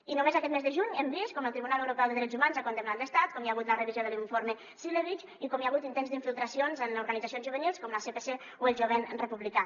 i només aquest mes de juny hem vist com el tribunal europeu de drets humans ha condemnat l’estat quan hi ha hagut la revisió de l’informe cilevics i com hi ha hagut intents d’infiltracions en organitzacions juvenils com el sepc o el jovent republicà